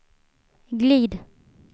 glid